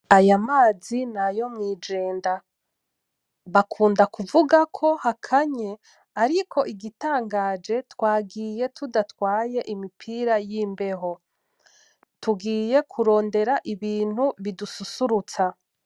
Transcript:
Aya mazi nayo mw'Ijenda bakunda kuvuga ko hakanye ,ariko igitangaje twagiye tudatwaye imipira yimbeho , tugiye kurondera Ibintu bidususurutsa .